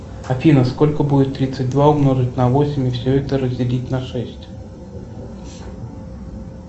афина сколько будет тридцать два умножить на восемь и все это разделить на шесть